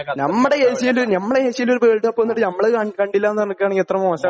നമ്മട ഏഷ്യയില്..ഞമ്മള ഏഷ്യയില് ഒരു വേൾഡ് കപ്പ് വന്നിട്ട് ഞമ്മള് കാണ..കണ്ടില്ലാ നു പറയുവാണെങ്കിൽ എത്ര മോശമാണ്.